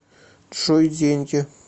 джой деньги